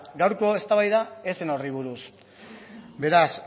gaurko eztabaida ez zen horri buruz beraz